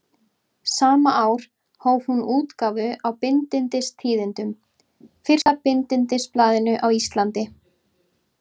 Sama ár hóf hún útgáfu á Bindindistíðindum, fyrsta bindindisblaðinu á Íslandi.